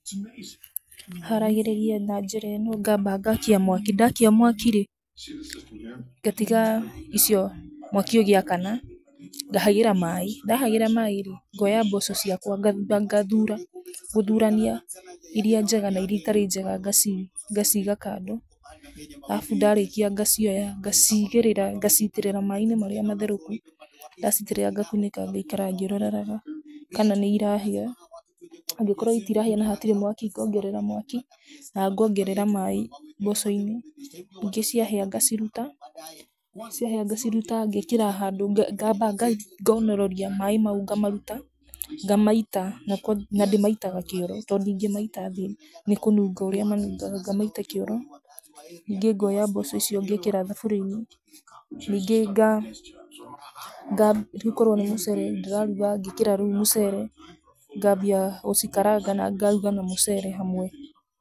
Haragĩrĩria na njĩra ĩno, ngamba ngakia mwaki. Ndakia mwaki-rĩ, ngatiga icio mwaki ũgĩakana, ngahagĩra maaĩ. Ndahagĩra maaĩ-rĩ, ngooya mboco ciakwa ngathura. Gũthũrania iria njega na iria itarĩ njega, ngaciiga kando. Arabu ndarĩkia ngacioya, ngacigĩrĩra, ngacitĩrĩra maaĩ-inĩ marĩa matherũku. Ndaciitĩrĩra, ngakunĩka ngaikara ngĩiroraga kana nĩ irahĩa. Angĩkorwo itirahĩa na hatirĩ mwaki ngongerera mwaki na ngongerera maaĩ mboco-inĩ. Ningĩ ciahĩa ngaciruta. Ciahĩa ngaciruta, ngeekĩra handũ ngamba ngonoreria maaĩ mau ngamaruta. Ngamaita, na ndĩmaitaga kĩoro to ndingĩmaita thĩ nĩ kũnunga ũrĩa manungaga, ngamaita kĩoro. Ningĩ ngoya mboco icio ngekĩra thaburia-inĩ. Ningĩ, rĩu korwo nĩ mũcere ndĩraruga, ngekĩra rĩu mũcere ngambia gũcikaranga na ngaruga na mũcere hamwe.